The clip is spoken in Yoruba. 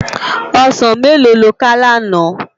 Òsán méló ló ká làná?